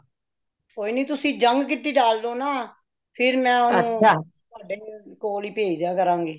ਕੋਈ ਨਹੀਂ ਤੁਸੀ young kitty ਡਾਲ ਲੋ ਨਾ , ਫੇਰ ਮੇ ਉਨ੍ਹਾਂਨੂੰ ਤੁਹਾਡੇ ਕੋਲ ਹੈ ਪਹੇਜ ਦਿਆਂ ਕਰਾਂਗੀ